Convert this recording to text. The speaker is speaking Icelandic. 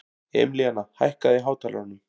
Emilíana, hækkaðu í hátalaranum.